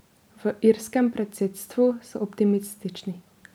V irskem predsedstvu so optimistični.